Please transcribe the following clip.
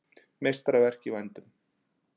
Meistaraverk í vændum